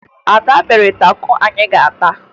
Ada mere tako anyị ga-ata